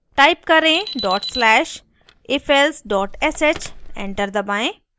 type करें dot slash ifelse sh enter दबाएं